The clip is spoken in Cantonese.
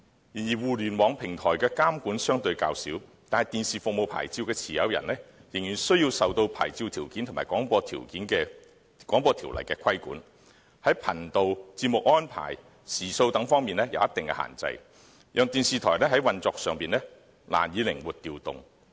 然而，互聯網平台的監管相對較小，但電視服務牌照的持有人仍然需要受牌照條件及《廣播條例》的規管，在頻道、節目安排和時數等方面有一定限制，令電視台在運作上難以靈活調動。